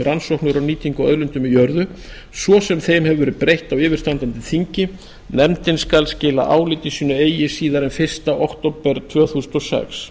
rannsóknir og nýtingu á auðlindum í jörðu svo sem þeim hefur verið breytt á yfirstandandi þingi nefndin skal skila áliti sínu eigi síðar en fyrsta október tvö þúsund og sex